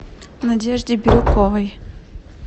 надежде бирюковой